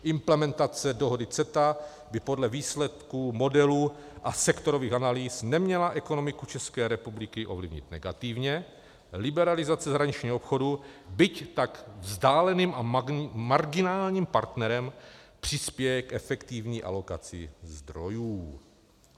Implementace dohody CETA by podle výsledků modelu a sektorových analýz neměla ekonomiku České republiky ovlivnit negativně, liberalizace zahraničního obchodu, byť tak vzdáleným a marginálním partnerem, přispěje k efektivní alokaci zdrojů.